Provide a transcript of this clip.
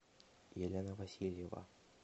елена васильева